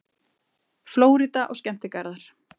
FLÓRÍDA OG SKEMMTIGARÐAR